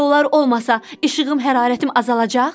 Guya onlar olmasa, işığım, hərarətim azalacaq?